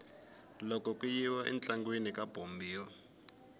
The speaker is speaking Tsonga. loko ku yiwa entlangwini ka bombiwa